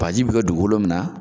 Bagaji bi kɛ dugukolo min na